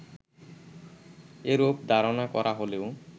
এরূপ ধারণা করা হলেও